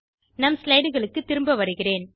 நம் slideகளுக்கு திரும்ப வருகிறேன்